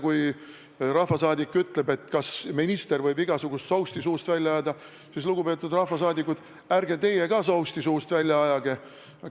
Kui rahvasaadik küsib, kas minister võib igasugust sousti suust välja ajada, siis, lugupeetud rahvasaadikud, ärge teie ka suust sousti välja ajage.